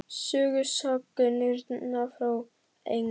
Sögusagnirnar frá Englandi?